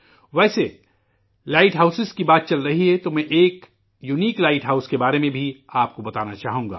ویسے، lighthouse کی بات چل رہی ہے تو میں ایک انوکھے لائٹ ہاؤس کے بارے میں بھی آپ کو بتانا چاہوں گا